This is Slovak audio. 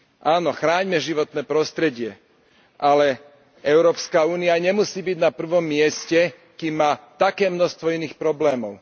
Áno, chráňme životné prostredie, ale Európska únia nemusí byť na prvom mieste, kým má také množstvo iných problémov.